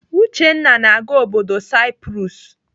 Uchenna na-aga obodo Saipros.